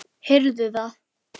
Heyrðu það!